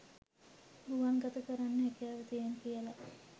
ගුවන් ගත කරන්න හැකියාව තියෙනවා කියල